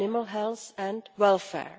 health and welfare.